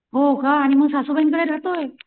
हो का आणि मग सासूबाईंकडे रहातोय?